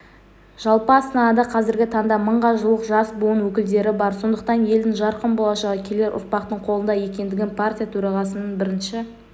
жалпы астанада қазіргі таңда мыңға жуық жас буын өкілдері бар сондықтан елдің жарқын болашағы келер ұрпақтың қолында екендігін партия төрағасының бірінші